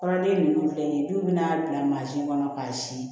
Kɔrɔden ninnu filɛ nin ye dɔw bɛ n'a bila mansin kɔnɔ k'a sin